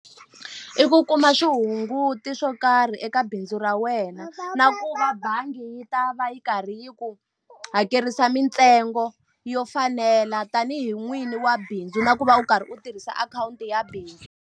I ku kuma swihunguto swo karhi eka bindzu ra wena, na ku va bangi yi ta va yi karhi yi ku hakerisa mintsengo yo fanela tanihi n'wini wa bindzu. Na ku va u karhi u tirhisa akhawunti ya bindzu.